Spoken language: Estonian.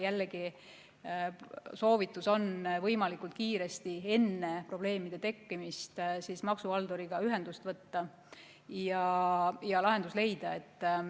Jällegi, soovitatav on võimalikult kiiresti enne probleemide tekkimist maksuhalduriga ühendust võtta ja lahendus leida.